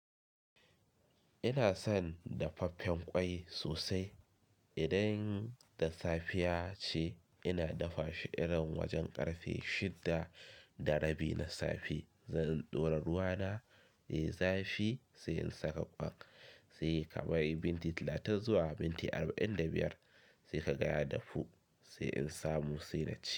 Ina son dafaffen ƙwai sosai. Idan da safiya ce ina dafa shi irin wajen ƙarfe shida da rabi na safe. Zan ɗora ruwa na yi zafi sai in saka ƙwai, sai ka bari minti talatin zuwa minti arba'in da biyar, sai ka gaya dafu, sai in samu sai na ci.